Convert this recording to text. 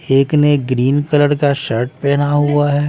एक ने green colour का शर्ट पहना हुआ है।